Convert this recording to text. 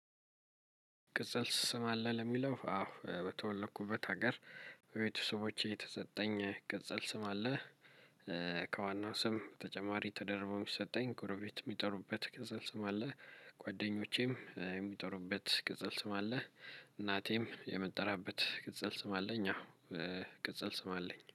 ቅጽል ስም አለ ለሚለው አዎ በተወለኩበት ሀገር ቤተሰቦቼ የተሰጠኝ ቅጽል ስም አለ። ከዋናው ስም በተጨማሪ ተደርቦ የሚሰጠኝ ጎረቤት የሚጠሩበት ቅጽል ስም አለ። ጓደኞቼም የሚጠሩበት ቅጽል ስም አለ። እናቴም የምጠራበት ቅጽል ስም አለኝ አዎ። ቅጽል ስም አለኝ